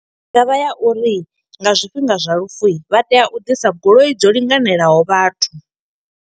I nga vha ya uri nga zwifhinga zwa lufu, vha tea u ḓisa goloi dzo linganelaho vhathu.